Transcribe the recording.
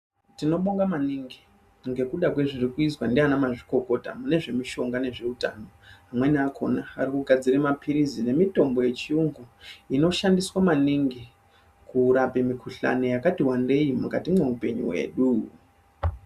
Tinobonga maningi ngekuda kwezviri kuizwa ndanamazvikokota mune zvemushonga nezveutano. Amweni akona ari kugadzire maphirizi nemitombo yechiyungu inoshandiswa maningi kurape mikuhlani yakati wandei mukati mweupenyu hwedu.